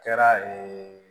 Kɛra